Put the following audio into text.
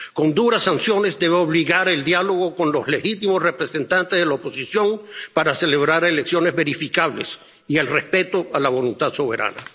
Con duras sanciones debe obligar al diálogo con los legítimos representantes de la oposición para celebrar elecciones verificables y al respeto de la voluntad soberana.